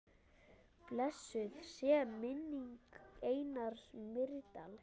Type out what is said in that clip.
Blessuð sé minning Einars Mýrdal.